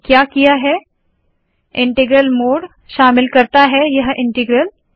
तो मैंने क्या किया है इन्टग्रल मोड शामिल करता है यह इन्टग्रल